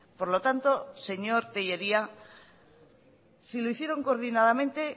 por lo tanto señor tellería si lo hicieron coordinadamente